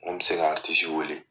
Mun bɛ se ka wele.